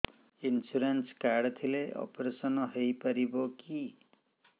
insurance card ଥିଲେ operation ହେଇପାରିବ କି